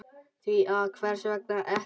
Því að hvers vegna ekki?